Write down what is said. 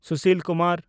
Sushil Kumar